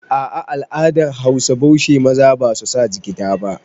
Ah ah, al'adan Hausa baushe maza basu sa jigida ba